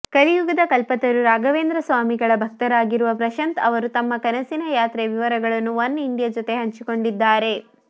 ಕಲಿಯುಗದ ಕಲ್ಪತರು ರಾಘವೇಂದ್ರ ಸ್ವಾಮಿಗಳ ಭಕ್ತರಾಗಿರುವ ಪ್ರಶಾಂತ್ ಅವರು ತಮ್ಮ ಕನಸಿನ ಯಾತ್ರೆಯ ವಿವರಗಳನ್ನು ಒನ್ಇಂಡಿಯಾ ಜೊತೆ ಹಂಚಿಕೊಂಡಿದ್ದಾರೆ